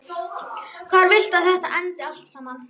Hvar viltu að þetta endi allt saman?